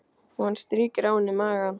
Og hann strýkur á henni magann.